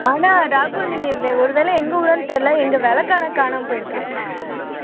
ஆனா ராகுல் நீங்க ஒருவேளை எங்க ஊருன்னு தெரியல எங்க விளக்கு ஆனா காணாம போயிருக்கு